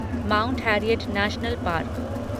mount Harriet National park